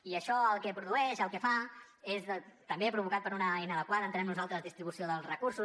i això el que produeix el que fa és també provocat per una inadequada entenem nosaltres distribució dels recursos